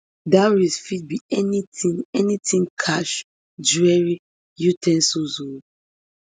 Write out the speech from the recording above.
dowry fit be anytin anytin cash jewellery u ten sils um